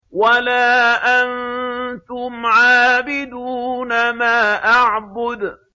وَلَا أَنتُمْ عَابِدُونَ مَا أَعْبُدُ